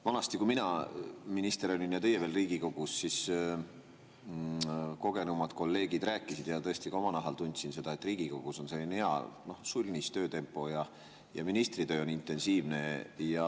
Vanasti, kui mina minister olin ja teie veel Riigikogus, siis kogenumad kolleegid rääkisid ja tõesti ma ka oma nahal tundsin seda, et Riigikogus on selline hea, sulnis töötempo, ministri töö aga on intensiivne.